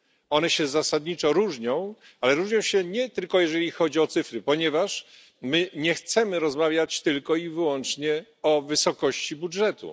One się zasadniczo różnią, nie tylko jeżeli chodzi o cyfry, ponieważ my nie chcemy rozmawiać tylko i wyłącznie o wysokości budżetu.